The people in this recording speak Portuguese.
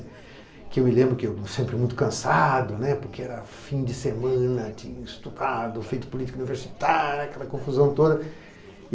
Que eu me lembro que eu, sempre muito cansado, né, porque era fim de semana, tinha estudado, feito política universitária, aquela confusão toda.